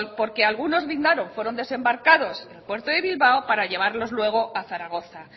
porque algunos puerto de bilbao para llevarlos luego a zaragoza